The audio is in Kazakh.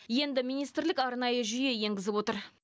енді министрлік арнайы жүйе енгізіп отыр